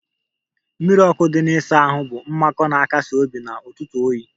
Mmiri ọkụ dị na ịsa ahụ bụ mmakọ na-akasi obi n'ụtụtụ oyi